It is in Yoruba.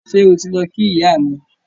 Ṣé o ti lọ kí ìyá mi